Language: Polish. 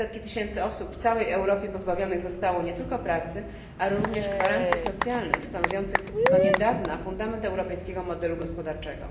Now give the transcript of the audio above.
Setki tysięcy osób w całej Europie pozbawione zostały nie tylko pracy, ale również gwarancji socjalnych stanowiących do niedawna fundament europejskiego modelu gospodarczego.